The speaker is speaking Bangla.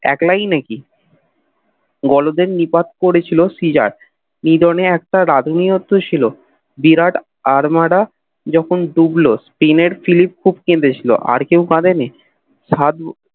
একলাই নাকি গোলদের নিপাক পড়েছিল সেই রাত কিরণের একটা আধুনিকোত্ত ছিল বিরাট আর্মদা যখন ডুবল স্টিমের ফ্লিপ খুব কেঁদেছিলো আর কেও কাদেনী সাধু